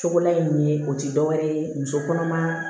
Cogola ye nin ye o ti dɔwɛrɛ ye muso kɔnɔma